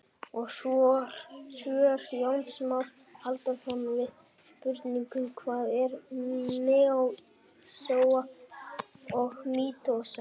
Og svör Jóns Más Halldórssonar við spurningunum: Hvað er meiósa og mítósa?